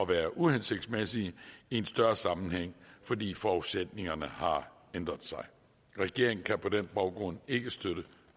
være uhensigtsmæssige i en større sammenhæng fordi forudsætningerne har ændret sig regeringen kan på den baggrund ikke støtte